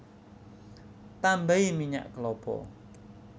Tambahi minyak klapa